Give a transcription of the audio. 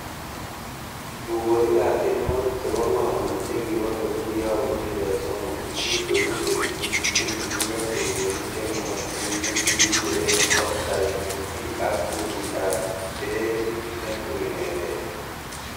Tugosiek ab tienwogik chebo ng'omnot chekibo keny ko kiyobu chumbek somok, tupchosiek che tibiik chekitindoi tugosiek che nootin nekikuren SWV ak kunditab Streetit netui Ngetet.